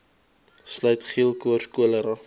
sluit geelkoors cholera